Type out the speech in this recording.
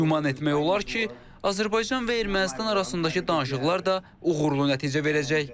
Güman etmək olar ki, Azərbaycan və Ermənistan arasındakı danışıqlar da uğurlu nəticə verəcək.